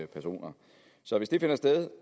personer så hvis det finder sted